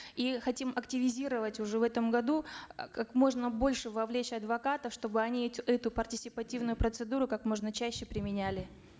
и хотим активизировать уже в этом году как можно больше вовлечь адвокатов чтобы они эту партисипативную процедуру как можно чаще применяли